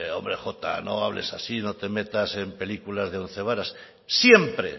hombre jota no hables así no te metas en películas de once varas siempre